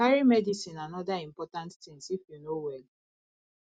carry medicine and oda important things if you no well